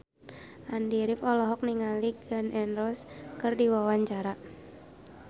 Andy rif olohok ningali Gun N Roses keur diwawancara